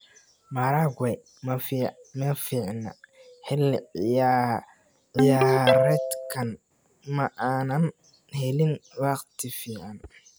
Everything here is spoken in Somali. Maragwe ma fiicna xilli ciyaareedkan, ma aanan helin waqti fiican.